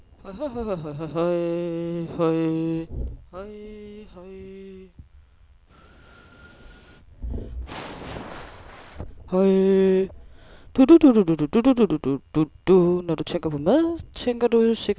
Når du tænker på mad, tænker du sikkert først og fremmest på, at den skal smage godt, står der i en folder på burgerbaren.